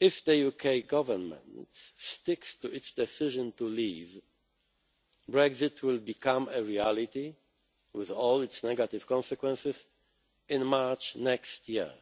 will. If the UK Government sticks to its decision to leave, Brexit will become a reality, with all its negative consequences, in March next year,